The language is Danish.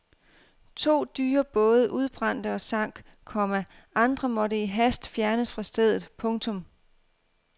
To dyre både udbrændte og sank, komma andre måtte i hast fjernes fra stedet. punktum